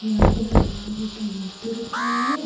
यहां पे हनुमान जी की मूर्ति रखी हुई है।